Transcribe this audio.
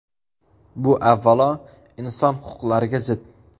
Bu, avvalo, inson huquqlariga zid.